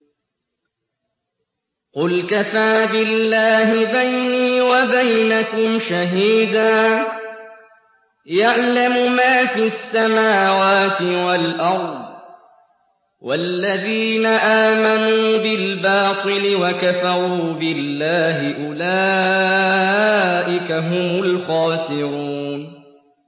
قُلْ كَفَىٰ بِاللَّهِ بَيْنِي وَبَيْنَكُمْ شَهِيدًا ۖ يَعْلَمُ مَا فِي السَّمَاوَاتِ وَالْأَرْضِ ۗ وَالَّذِينَ آمَنُوا بِالْبَاطِلِ وَكَفَرُوا بِاللَّهِ أُولَٰئِكَ هُمُ الْخَاسِرُونَ